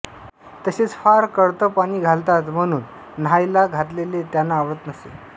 तसेच फार कढत पाणी घालतात म्हणून न्हायला घातलेले त्यांना आवडत नसे